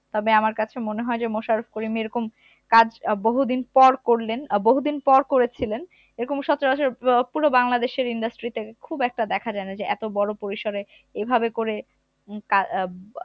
তবে আমার কাছে মনে হয় যে মোশারফ করিম এরকম কাজ আহ বহুদিন পর করলেন আহ বহু দিন পর করেছিলেন এরকম সচরাচর আহ পুরো বাংলাদেশের industry তে খুব একটা দেখা যায় না যে এতো বড় পরিসরে এভাবে করে উম আহ